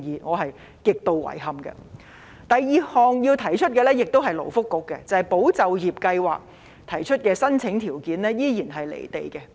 第二個問題同樣涉及勞工及福利局，便是"保就業"計劃的申請資格依然"離地"。